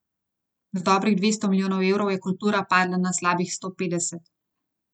Z dobrih dvesto milijonov evrov je kultura padla na slabih sto petdeset.